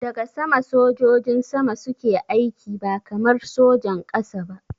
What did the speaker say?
Daga sama sojojin sama suke aiki ba kamar sojan ƙasa ba